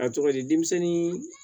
A tɔgɔ di denmisɛnnin